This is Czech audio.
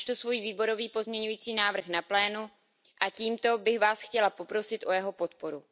Předložím svůj výborový pozměňovací návrh na plénu a tímto bych Vás chtěla poprosit o jeho podporu.